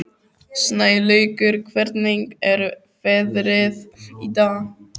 Snælaugur, hvernig er veðrið í dag?